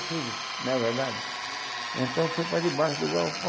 Tudo, não é verdade? É verdade. Então foi para debaixo do balcão